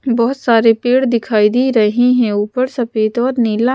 बहुत सारे पेड़ दिखाई दे रहे हैं ऊपर सफेद और नीला--